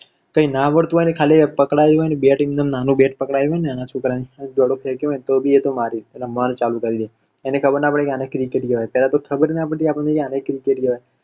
કઈ ના આવડતું હોય ને ખાલી આમ પકડાયું હોય બેટ એમનામ નાના છોકરાં ને, દડો ફેક્યો હોય ને તો પણ મારે, રમવાનું ચાલુ કરી દે, અને ખબર ના પડે કે આને cricket કેવાય. પેલા તો ખબર ના પડતી આને cricket કેવાય.